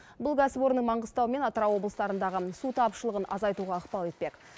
бұл кәсіпорын маңғыстау мен атырау облыстарындағы су тапшылығын азайтуға ықпал етпек